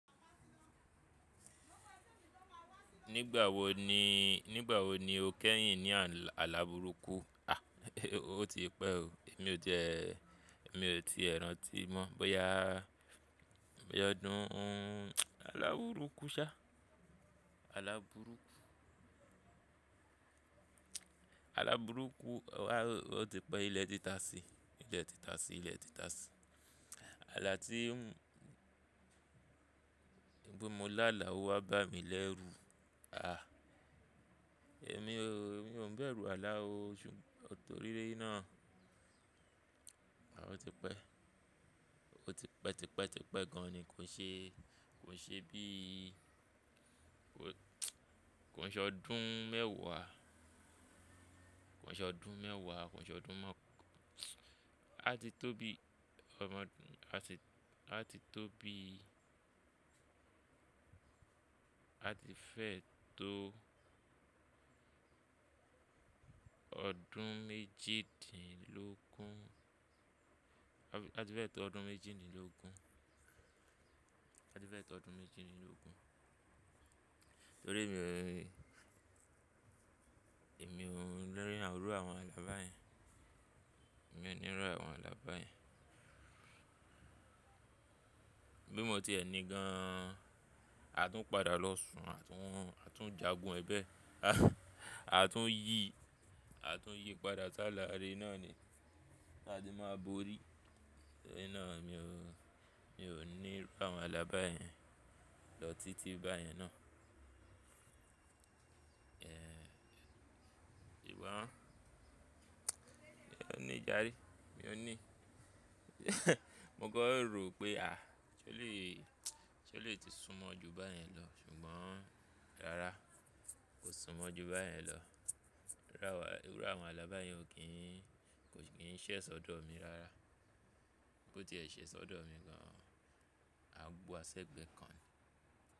Nígbà wo ni, nígbà wo ni o kẹ́yìn ní àlabùrúkù? A! O ti pẹ́ o, èmi ò ti ẹ́, èmi ò tie rántí mọ́. Bóyá ọdún alawúrúkù sa, àlabùrúkù. Alabùrúkù, a o ti pẹ́, ilé tìtasí, ilé tìtasí, ilé tìtasí. Àlà tí bípe mo lá là wá bá mi lẹ́rú. A! Èmi o, èmi ò ń bẹ̀rù àlà o ṣùgbọ́n nítorí náà, a o ti pẹ́. O ti pẹ́, ti pẹ́, ti pẹ́ gan an ni kò ṣe, kò ṣe bí i kò ṣe ọdún mẹ́wàá, kòn ṣe ọdún mẹ́wàá, kò ṣe ọdún mọ́. A ti tó bí i, a ti, a ti tó bí i, a ti fẹ́ tó ọdún méjìdínlógún, a ti fẹ́ tó ọdún méjìdínlógún, a ti fẹ́ tó ọdún méjìdínlógún. Nítorí èmi o, èmi ò ní rí irù àwọn alà báyẹn, èmi ò ní ru àwọn alà báyẹn. Bí mo tiẹ ni gan an, a tún padà lọ́ṣùn, a tún, a tún jagun ẹ bẹ́ẹ̀. A tún yí, a tún yí padà s'álà ire náà ni. A de má borí. Ṣé náà mi ò, mi òn ní irú àwọn alà báyẹn lọ títí báyẹn náà. Ehn, sùgbón, mi òn ní jarè, mi òn ní. Mo kọ́ rò pé a! Ṣé ó lè, ṣé ó lè ti sún mọ́ ju báyẹn lọ? Ṣùgbọ́n rárá kò sún mọ́ ju báyẹn lọ. Rárá àwa, irù àwọn alàbá yẹn ò kí n, kò kí n ṣẹ̀ ṣọ́dọ̀ mí rárá. Bí ó ti ẹ ṣẹ̀ṣọ́ dọ̀ mi gan an, a gba ṣẹ́gbẹ́ kan.